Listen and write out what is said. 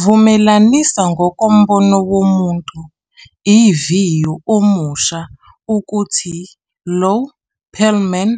Vumelanisa, ngokombono womuntu, iviyo omusha ukuthi Lou Pearlman